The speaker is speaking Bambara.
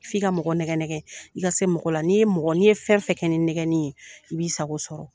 F'i ka mɔgɔ nɛgɛnnɛgɛgɛn, i ka se mɔgɔ la. N'i ye mɔgɔ, n'i ye fɛn fɛn kɛ ni nɛgɛnni ye i b'i sago sɔrɔ.